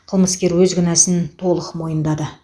қылмыскер өз кінәсін толық мойындады